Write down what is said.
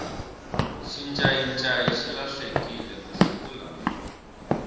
xincayincayi xi lahlekile masiku lawa